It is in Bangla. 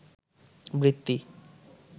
বৃত্তি